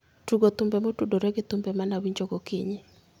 Tugo thumbe motudore gi thumbe ma ne awinjo gokinyi